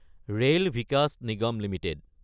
rail Vikas Nigam Ltd